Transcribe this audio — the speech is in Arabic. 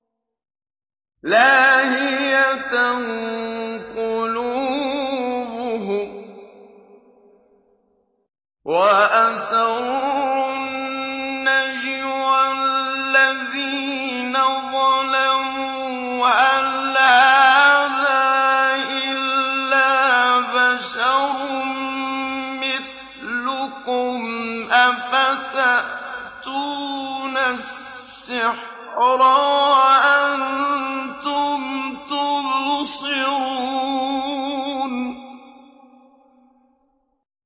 لَاهِيَةً قُلُوبُهُمْ ۗ وَأَسَرُّوا النَّجْوَى الَّذِينَ ظَلَمُوا هَلْ هَٰذَا إِلَّا بَشَرٌ مِّثْلُكُمْ ۖ أَفَتَأْتُونَ السِّحْرَ وَأَنتُمْ تُبْصِرُونَ